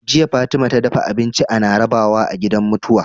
Jiya Fatima ta dafa abinci ana rabawa a gidan mutuwa